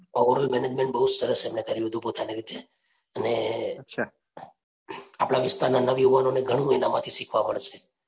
overall management બહુ સરસ એમને કર્યું હતું પોતાની રીતે અને આપણાં વિસ્તારના નવયુવાનોને ઘણું એનામાંથી શીખવા મળશે.